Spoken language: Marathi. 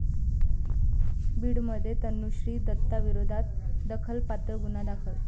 बीडमध्ये तनुश्री दत्ताविरोधात अदखलपात्र गुन्हा दाखल